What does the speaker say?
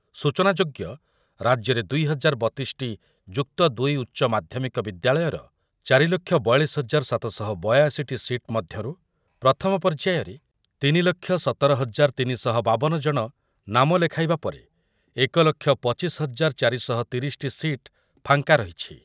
ସୂଚନାଯୋଗ୍ୟ ରାଜ୍ୟରେ ଦୁଇ ହଜାର ବତିଶି ଟି ଯୁକ୍ତ ଦୁଇ ଉଚ୍ଚମାଧ୍ୟମିକ ବିଦ୍ୟାଳୟର ଚାରି ଲକ୍ଷ ବୟାଳିଶି ହଜାର ସାତ ଶହ ବୟାଅଶି ଟି ସିଟ୍ ମଧ୍ୟରୁ ପ୍ରଥମ ପର୍ଯ୍ୟାୟରେ ତିନି ଲକ୍ଷ ସତର ହଜାର ତିନି ଶହ ବାବନ ଜଣ ନାମ ଲେଖାଇବା ପରେ ଏକ ଲକ୍ଷ ପଚିଶି ହଜାର ଚାରି ଶହ ତିରିଶି ଟି ସିଟ୍ ଫାଙ୍କା ରହିଛି।